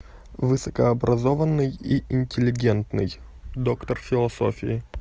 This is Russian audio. высокообразованный и интеллигентный доктор философии